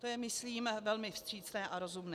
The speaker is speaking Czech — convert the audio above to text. To je, myslím, velmi vstřícné a rozumné.